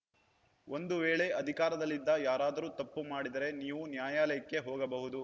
ಒಂದು ವೇಳೆ ಅಧಿಕಾರದಲ್ಲಿದ್ದ ಯಾರಾದರೂ ತಪ್ಪು ಮಾಡಿದರೆ ನೀವು ನ್ಯಾಯಾಲಯಕ್ಕೆ ಹೋಗಬಹುದು